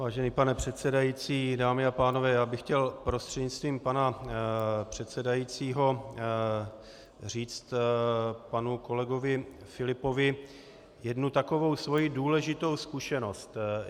Vážený pane předsedající, dámy a pánové, já bych chtěl prostřednictvím pana předsedajícího říct panu kolegovi Filipovi jednu takovou svou důležitou zkušenost.